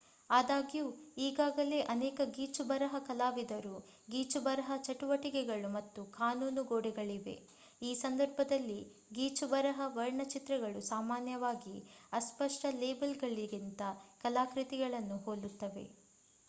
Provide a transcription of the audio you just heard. ಆದಾಗ್ಯೂ ಈಗಾಗಲೇ ಅನೇಕ ಗೀಚುಬರಹ ಕಲಾವಿದರು ಗೀಚುಬರಹ ಚಟುವಟಿಕೆಗಳು ಮತ್ತು ಕಾನೂನು ಗೋಡೆಗಳಿವೆ. ಈ ಸಂದರ್ಭದಲ್ಲಿ ಗೀಚುಬರಹ ವರ್ಣಚಿತ್ರಗಳು ಸಾಮಾನ್ಯವಾಗಿ ಅಸ್ಪಷ್ಟ ಲೇಬಲ್‌ಗಳಿಗಿಂತ ಕಲಾಕೃತಿಗಳನ್ನು ಹೋಲುತ್ತವೆ